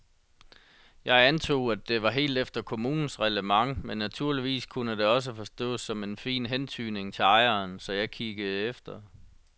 Jeg antog, at det var helt efter kommunens reglement men naturligvis kunne det også forstås som en fin hentydning til ejeren, så jeg kiggede efter.